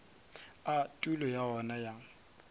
a tulo ya yona ya